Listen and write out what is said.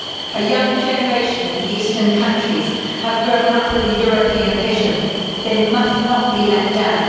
A young generation in the Eastern countries has grown up with a European vision they must not be let down.